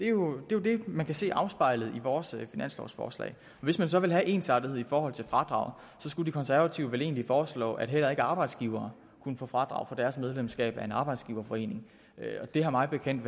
jo det man kan se afspejlet i vores finanslovsforslag hvis man så vil have ensartethed i forhold til fradraget skulle de konservative vel egentlig foreslå at heller ikke arbejdsgivere kunne få fradrag for deres medlemskab af en arbejdsgiverforening og det har mig bekendt